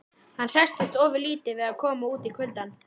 Hann hresstist ofurlítið við að koma út í kuldann.